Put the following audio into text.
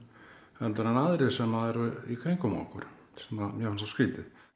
en aðrir sem eru í kringum okkur sem mér finnst svo skrítið